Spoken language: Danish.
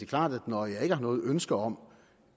klart at når jeg ikke har noget ønske om